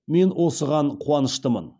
мен осыған қуаныштымын